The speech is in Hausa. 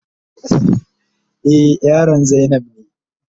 Eh, yaron zainab ne.